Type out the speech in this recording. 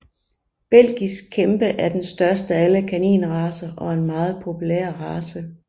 Belgisk kæmpe er den største af alle kaninracer og er en meget populær race